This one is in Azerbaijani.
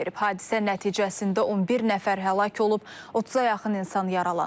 Hadisə nəticəsində 11 nəfər həlak olub, 30-a yaxın insan yaralanıb.